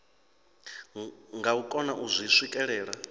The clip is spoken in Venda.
nga kona u zwi swikelela